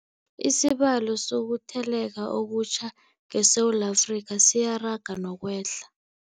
Isibalo sokuthele leka okutjha ngeSewula Afrika siyaraga nokwehla.